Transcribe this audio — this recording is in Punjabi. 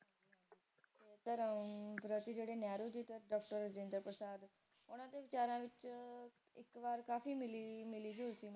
ਜਿਹੜੇ ਨਹਿਰੂ ਜੀ ਤੇ ਜਵਾਹਰ ਲਾਲ ਨਹਿਰੂ ਤੇ ਰਾਜਿੰਦਰ ਪ੍ਰਸਾਦ ਓਹਨਾ ਦੇ ਵਿਚਾਰਾਂ ਵਿਚ ਇੱਕ ਵਾਰ ਕਾਫੀ ਮਿਲੀ ਜੂਲ ਸੀ